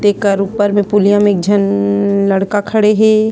एकर ऊपर में पुलिया में एक झन न लड़का खड़े हे।